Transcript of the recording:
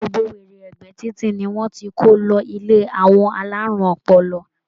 Gbogbo wèrè ẹ̀gbẹ́ títì ni wọ́n ti kó lọ ilé àwọn alárùn ọpọlọ.